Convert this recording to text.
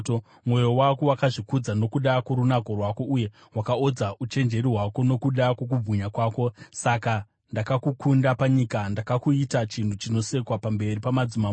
Mwoyo wako wakazvikudza nokuda kworunako rwako, uye wakaodza uchenjeri hwako nokuda kwokubwinya kwako. Saka ndakakukanda panyika; ndakakuita chinhu chinosekwa pamberi pamadzimambo.